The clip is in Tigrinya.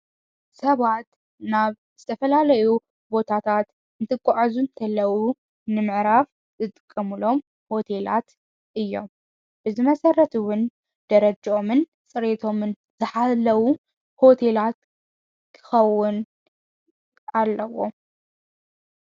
ሰባት ናብ ተፈላለዩ ቦታታት እምት ቋዐዙ እንተለዉ ንምዕራፍ ዘጥቀሙሎም ሆቴላት እዮም ብዝ መሠረትውን ደረጀኦምን ጽሬቶምን ዝኃለዉ ሆቴላት ክኸውን ኣለዎ።